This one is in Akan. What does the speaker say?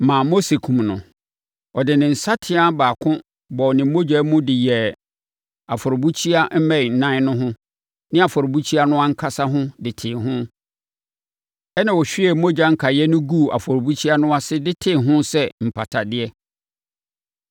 ma Mose kumm no. Ɔde ne nsateaa baako bɔɔ ne mogya mu de yɛɛ afɔrebukyia mmɛn nan no ho ne afɔrebukyia no ankasa ho de tee ho, ɛnna ɔhwiee mogya no nkaeɛ no guu afɔrebukyia no ase de tee ho sɛ mpatadeɛ.